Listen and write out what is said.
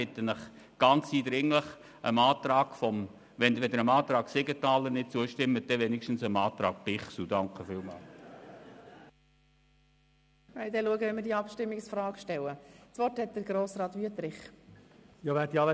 Ich bitte Sie eindringlich, dem Antrag Siegenthaler/Bichsel zuzustimmen – wenn Sie dem Antrag Siegenthaler nicht zustimmen wollen, dann wenigstens dem Antrag Bichsel.